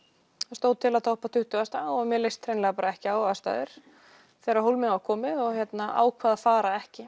stóð til að toppa tuttugustu og mér leist hreinlega ekki á aðstæður þegar hólminn var komið og ákvað að fara ekki